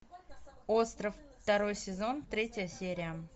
остров второй сезон третья серия